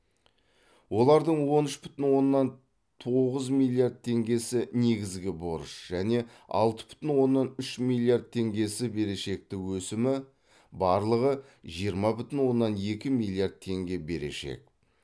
олардың он үш бүтін оннан тоғыз миллиард теңгесі негізгі борыш және алты бүтін оннан үш миллиард теңгесі берешекті өсімі барлығы жиырма бүтін оннан екі миллиард теңге берешек